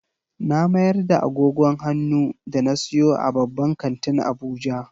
Na mayar da agogon hannu da na siyo a babban kantin Abuja.